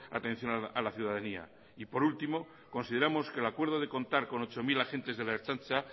atención a la ciudadanía y por último consideramos que el acuerdo de contar con ocho mil agentes de la ertzaintza